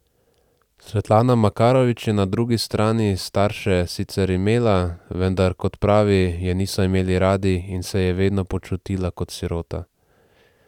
Svetlana Makarovič je na drugi strani starše sicer imela, vendar kot pravi, je niso imeli radi in se je vedno počutila kot sirota.